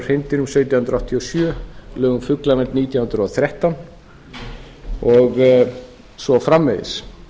hreindýrum sautján hundruð áttatíu og sjö lög um fuglavernd árið nítján hundruð og þrettán og svo framvegis